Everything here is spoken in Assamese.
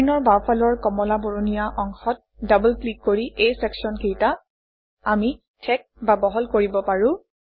স্ক্ৰীনৰ বাওঁফালৰ কমলা বৰণীয়া অংশত ডবল ক্লিক কৰি এই চেকশ্যনকেইটা আমি ঠেক বা বহল কৰিব পাৰোঁ